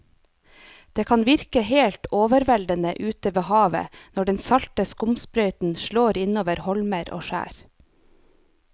Det kan virke helt overveldende ute ved havet når den salte skumsprøyten slår innover holmer og skjær.